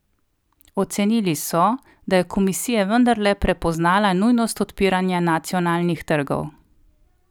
Ocenili so, da je komisija vendarle prepoznala nujnost odpiranja nacionalnih trgov.